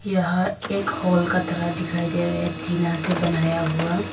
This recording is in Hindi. यहां एक हॉल का तरह दिखाई दे रहा है टीना से बनाया हुआ--